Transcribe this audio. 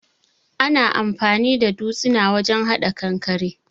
Ana anfani da dutsina wajen hada kankare.